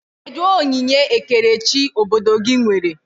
Kedụ onyinye ekerechi obodo gị nwere?